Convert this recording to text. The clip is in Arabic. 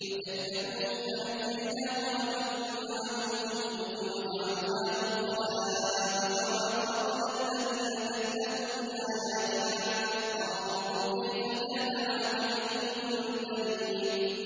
فَكَذَّبُوهُ فَنَجَّيْنَاهُ وَمَن مَّعَهُ فِي الْفُلْكِ وَجَعَلْنَاهُمْ خَلَائِفَ وَأَغْرَقْنَا الَّذِينَ كَذَّبُوا بِآيَاتِنَا ۖ فَانظُرْ كَيْفَ كَانَ عَاقِبَةُ الْمُنذَرِينَ